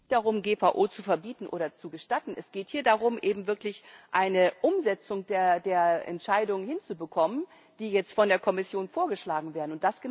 Es geht nicht darum, GVO zu verbieten oder zu gestatten. Es geht hier darum, eben wirklich eine Umsetzung der Entscheidungen hinzubekommen, die jetzt von der Kommission vorgeschlagen werden.